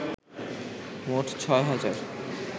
মোট ৬ হাজার